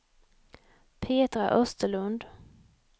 Petra Österlund